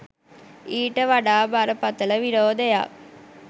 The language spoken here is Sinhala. ඊට වඩා බරපතළ විරෝධයක්